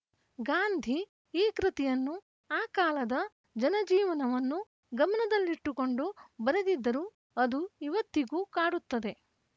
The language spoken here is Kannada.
ಗಾಂಧಿ ಈ ಕೃತಿಯನ್ನು ಆ ಕಾಲದ ಜನಜೀವನವನ್ನು ಗಮನದಲ್ಲಿಟ್ಟುಕೊಂಡು ಬರೆದಿದ್ದರೂ ಅದು ಇವತ್ತಿಗೂ ಕಾಡುತ್ತದೆ